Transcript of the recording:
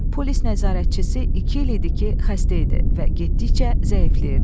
Polis nəzarətçisi iki il idi ki, xəstə idi və getdikcə zəifləyirdi.